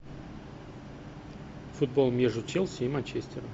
футбол между челси и манчестером